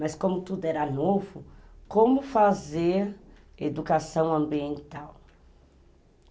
Mas como tudo era novo, como fazer educação ambiental?